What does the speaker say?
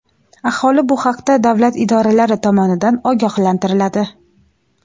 aholi bu haqda davlat idoralari tomonidan ogohlantiriladi.